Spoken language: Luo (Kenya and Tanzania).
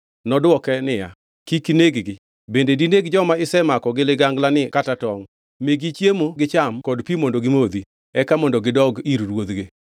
Nodwoke niya, “Kik ineg-gi. Bende dineg joma isemako gi liganglani kata tongʼ? Migi chiemo gicham kod pi mondo gimodhi, eka mondo gidog ir ruodhgi.”